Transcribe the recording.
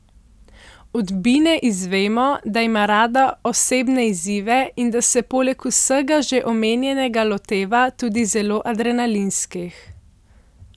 Od Bine izvemo, da ima rada osebne izzive in da se poleg vsega že omenjenega loteva tudi zelo adrenalinskih.